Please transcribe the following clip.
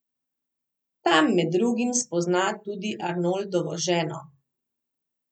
Tam med drugim spozna tudi Arnoldovo ženo.